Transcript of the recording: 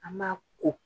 An b'a ko